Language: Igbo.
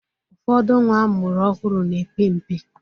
Ụfọdụ nwa amụrụ ọhụrụ na-epe mpe.